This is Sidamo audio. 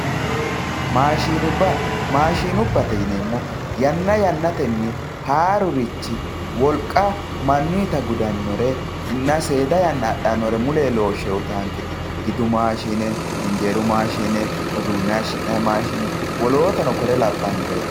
maashiinubba maashiinubbate yineemohu yanna yannatenni haarurichi wolqa manuuyiita gudannorenna seeda yanna axxannore muleyi loose uyiitanketi gidu maashine injeeru maashine uduune hayiishi'nayi maashine woolotano kore labbannoreeti.